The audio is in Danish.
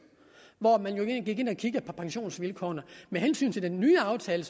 hvor man jo gik ind og kiggede på pensionsvilkårene med hensyn til den nye aftale